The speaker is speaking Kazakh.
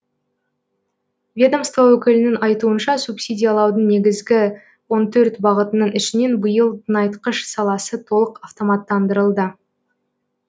ведомство өкілінің айтуынша субсидиялаудың негізгі он төрт бағытының ішінен биыл тыңайтқыш саласы толық автоматтандырылды